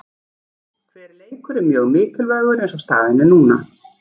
Hver leikur er mjög mikilvægur eins og staðan er núna.